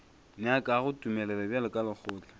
nyakago tumelelo bjalo ka lekgotla